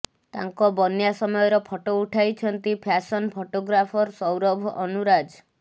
ତାଙ୍କ ବନ୍ୟା ସମୟର ଫଟୋ ଉଠାଇଛନ୍ତି ଫ୍ୟାଶନ୍ ଫଟୋଗ୍ରାଫର ସୌରଭ ଅନୁରାଜ